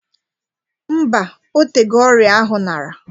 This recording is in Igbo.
Mbaa, otego ọrịa ahụ nara